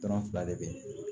Dɔrɔn fila de be yen